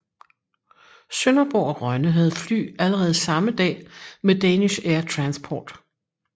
Sønderborg og Rønne havde fly allerede samme dag med Danish Air Transport